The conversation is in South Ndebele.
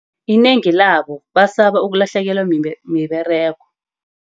Inengi labo basaba ukulahlekelwa miberego.